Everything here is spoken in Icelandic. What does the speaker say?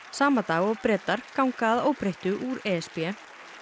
sama dag og Bretar ganga að óbreyttu úr e s b